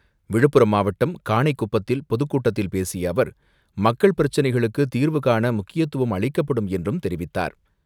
விழுப்புரம் மாவட்டம் காணைகுப்பத்தில் பொதுக்கூட்டத்தில் பேசியஅவர், மக்கள் பிரச்சினைகளுக்குதீர்வுகாணமுக்கியத்துவம் அளிக்கப்படும் என்றும் தெரிவித்தார்.